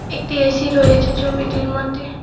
একটি এ_সি রয়েছে ছবিটির মধ্যে।